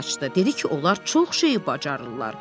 Dedi ki, onlar çox şeyi bacarırlar.